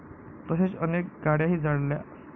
तसेच अनेक गाडय़ाही जाळल्या.